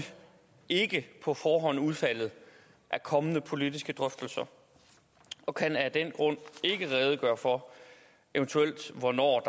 ikke på forhånd udfaldet af kommende politiske drøftelser og kan af den grund ikke redegøre for hvornår